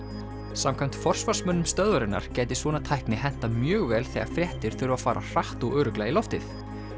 samkvæmt forsvarsmönnum stöðvarinnar gæti svona tækni hentað mjög vel þegar fréttir þurfa að fara hratt og örugglega í loftið